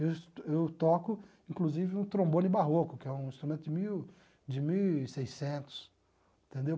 Eu eu toco, inclusive, um trombone barroco, que é um instrumento de mil de mil e seiscentos entendeu